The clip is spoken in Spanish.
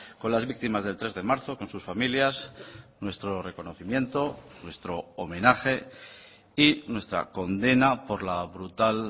con las víctimas del tres de marzo con sus familias nuestro reconocimiento nuestro homenaje y nuestra condena por la brutal